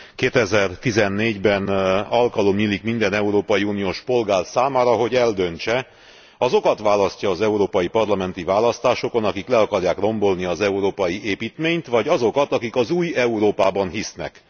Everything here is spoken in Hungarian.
2014 ben alkalom nyílik minden európai uniós polgár számára, hogy eldöntse, azokat választja az európai parlamenti választásokon, akik le akarják rombolni az európai építményt, vagy azokat, akik az új Európában hisznek.